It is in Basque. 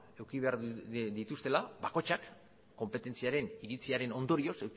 eduki behar dituztela bakoitzak konpetentziaren iritziaren ondorioz